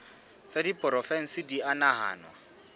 tsa diporofensi di a nahanwa